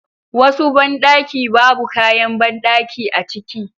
Wasu banɗaki babu kayan banɗaki a ciki